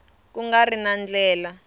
ku nga ri na ndlela